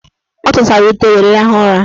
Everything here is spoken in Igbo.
Ọ tụsara ute were rahụ ụra.